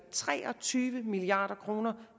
tre og tyve milliard kroner